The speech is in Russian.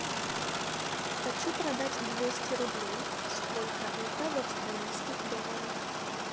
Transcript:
хочу продать двести рублей сколько это в австралийских долларах